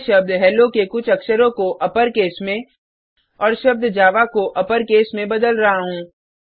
मैं शब्द हेलो के कुछ अक्षरों को अपरकेस में और शब्द जावा को अपरकेस में बदल रहा हूँ